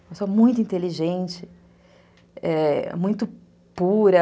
Uma pessoa muito inteligente, é, muito pura.